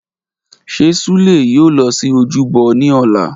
Ṣe Sule yoo lọ si ojúbọ ni ọla?